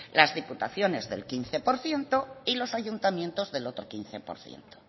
las diputaciones del quince por ciento y los ayuntamientos del otro quince por ciento